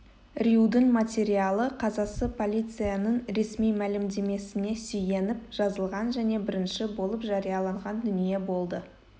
рьюдің материалы қазасы полицияның ресми мәлімдемесіне сүйеніп жазылған және бірінші болып жарияланған дүние болды